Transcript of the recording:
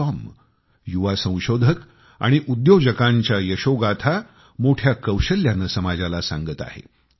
com युवा संशोधक आणि उद्योजकांच्या यशोगाथा मोठ्या कौशल्याने समाजाला सांगत आहे